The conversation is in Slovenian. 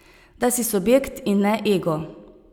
Da si subjekt in ne ego.